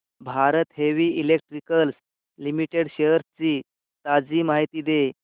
Bharat Heavy Electricals Limited shares ची ताजी माहिती दे